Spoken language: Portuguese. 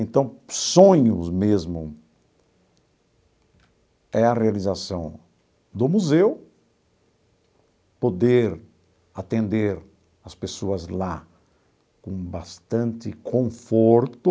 Então, sonhos mesmo é a realização do museu, poder atender as pessoas lá com bastante conforto,